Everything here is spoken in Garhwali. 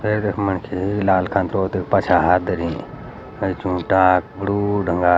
ये यख मनखी लाल खंतु दे पछ्या हाथ धरीं ऐन्चु डाक बडू धंगार।